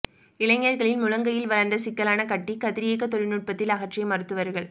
இளைஞரின் முழங்கையில் வளா்ந்த சிக்கலான கட்டி கதிரியக்க தொழில்நுட்பத்தில் அகற்றிய மருத்துவா்கள்